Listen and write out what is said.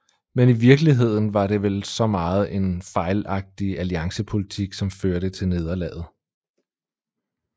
Men i virkeligheden var det vel så meget en fejlagtig alliancepolitik som førte til nederlaget